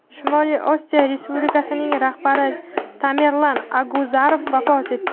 Shimoliy Osetiya Respublikasining rahbari Tamerlan Aguzarov vafot etdi.